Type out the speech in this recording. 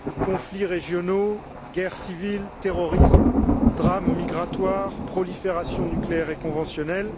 conflits régionaux, guerres civiles, terrorisme, drames migratoires, prolifération nucléaire et conventionnelle.